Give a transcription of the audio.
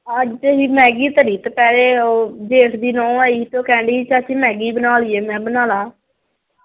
ਅੱਜ ਅਸੀਂ ਮੈਗੀ ਧਰੀ ਦੁਪਹਿਰੇ। ਉਹ ਜੇਠ ਦੀ ਨੂੰਹ ਆਈ ਸੀ ਤੇ ਉਹ ਕਹਿਣ ਡਈ ਸੀ ਚਾਚੀ ਮੈਗੀ ਬਣਾ ਲਈਏ। ਮੈਂ ਕਿਹਾ ਬਣਾ ਲਾ।